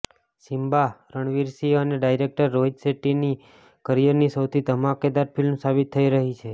Simba Ranveer Singh અને director Rohit શેટ્ટીના કરિયરની સૌથી ધમાકેદાર ફિલ્મ સાબિત થઇ રહી છે